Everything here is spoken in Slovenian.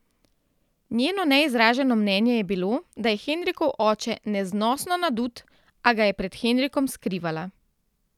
Njeno neizraženo mnenje je bilo, da je Henrikov oče neznosno nadut, a ga je pred Henrikom skrivala.